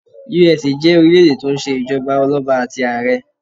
USA jé orílẹ̀ èdè tó n se ìjọba ọlọ́ba àti àrẹ